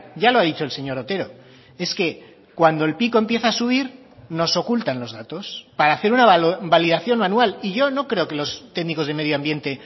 ya lo ha dicho el señor otero es que cuando el pico empieza a subir nos ocultan los datos para hacer una validación manual y yo no creo que los técnicos de medioambiente